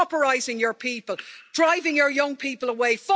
Pauperising your people, driving your young people away!